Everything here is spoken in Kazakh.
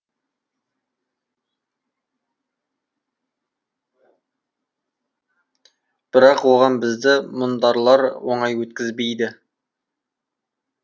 бірақ оған бізді мұндарлар оңай өткізбейді